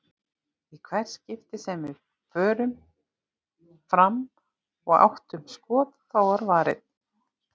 Í hvert skipti sem við fórum fram og áttum skot, þá var varið.